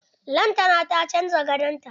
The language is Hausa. Lantana ta canza gadon ta.